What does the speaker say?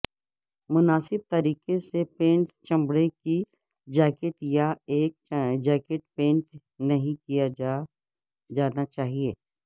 مناسب طریقے سے پینٹ چمڑے کی جیکٹ یا ایک جیکٹ پینٹ نہیں کیا جانا چاہئے